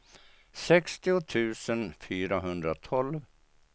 sextio tusen fyrahundratolv